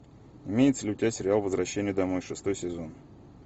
имеется ли у тебя сериал возвращение домой шестой сезон